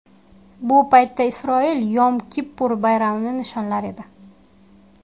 Bu paytda Isroil Yom Kippur bayramini nishonlar edi.